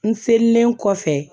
N selen kɔfɛ